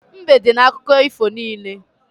Mbe dị n'akụkọ ifo niile.